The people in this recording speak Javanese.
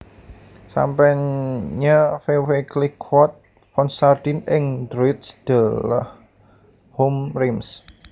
Sampanye Veuve Clicquot Ponsardin ing Droits de l Homme Reims